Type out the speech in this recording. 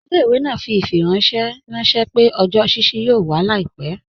Ilẹ̀-ìwé naa fi ifiranṣẹ ranṣẹ̀ pẹ̀ ọjọ́ ṣíṣí yóò wà làìpẹ.